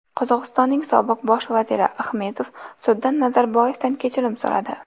Qozog‘istonning sobiq bosh vaziri Axmetov sudda Nazarboyevdan kechirim so‘radi.